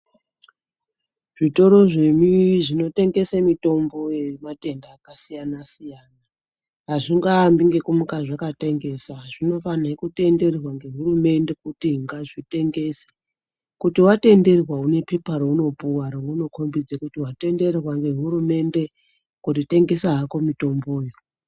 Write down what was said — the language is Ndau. Zvitoro zvemi zvinotengeswa mitombo yematenda akasiyana siyana azvingaambi nekumuka zvakatengesa zvinofanira kutenderwa nehurumende kuti ngazvitengese kuti watenderwa une Pepa raunopuwa kuzi watenderwa nehurumende kuti tengesa hako mitomboyo.